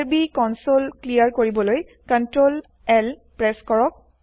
IRB console clear কৰিবলৈ Ctrl L press কৰক